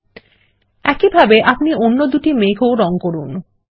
ল্টপাউসেগ্ট একই ভাবে আপনি অন্য মেঘটিও রঙ করুন